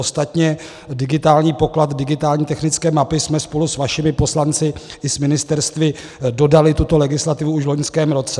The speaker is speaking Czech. Ostatně digitální poklad, digitální technické mapy, jsme spolu s vašimi poslanci i s ministerstvy dodali, tuto legislativu, už v loňském roce.